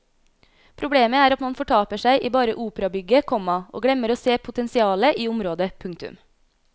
Problemet er at man fortaper seg i bare operabygget, komma og glemmer å se potensialet i området. punktum